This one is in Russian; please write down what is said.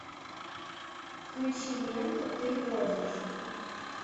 включи ленту ты водишь